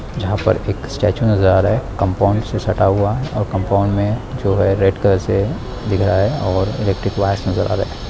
जहाँ पर एक स्टेचू नजर आ रहा हैं कंपाउंड से सटा हुआ हैं और कंपाउंड मे जो है रेड कलर से दिख रहा हैंऔर इलेक्ट्रिक वायरस नजर आ रहे है।